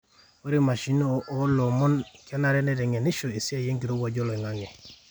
ore imashinini oloomon kenare neiteng'enisho esiai enkirowuaj oloingang'e